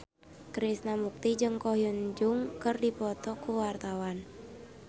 Krishna Mukti jeung Ko Hyun Jung keur dipoto ku wartawan